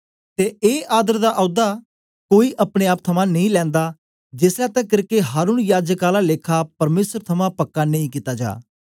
ते ए आदर दा औदा कोई अपने आप थमां नेई लैंदा जेसलै तकर के हारून याजक आला लेखा परमेसर थमां पक्का नेई कित्ता जा